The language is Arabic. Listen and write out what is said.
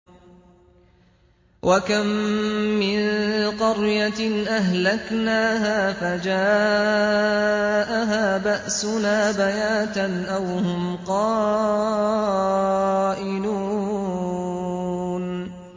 وَكَم مِّن قَرْيَةٍ أَهْلَكْنَاهَا فَجَاءَهَا بَأْسُنَا بَيَاتًا أَوْ هُمْ قَائِلُونَ